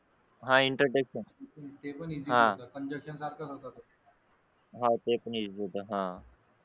हा हा हा ते पण इसि होता कंजेकशन सारखं होता होता ते पण इसि होता हा